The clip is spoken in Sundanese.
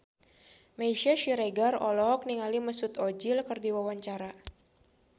Meisya Siregar olohok ningali Mesut Ozil keur diwawancara